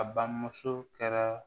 A bamuso kɛra